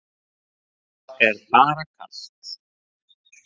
Það er bara kalt.